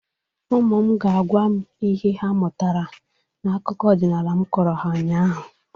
Ụmụ m ga-agwa m ihe ha mụtara n'akụkọ ọdịnala m kọrọ ha ụnyaahụ